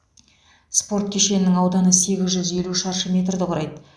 спорт кешенінің ауданы сегіз жүз елу шаршы метрді құрайды